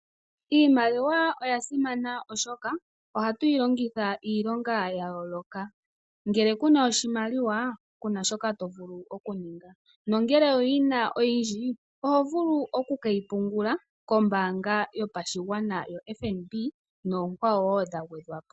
Iimaliwa oya simana oshoka ohatuyi longitha iilonga ya yooloka. Ngele kuna oshimaliwa kuna shoka tovulu okuninga ,nongele owuyina oyindji ohovulu oku keyi pungula kombaanga yopashigwana yo FNB nookwawo dha gwedhwapo.